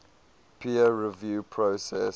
peer review process